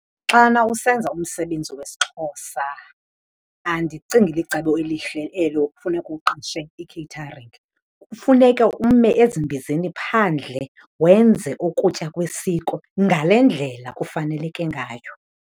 Xana usenza umsebenzi wesiXhosa andicingi licebo elihle elo kufuneke uqeshe i-catering. Kufuneka ume ezimbizeni phandle wenze ukutya kwesiko ngale ndlela kufaneleke ngayo.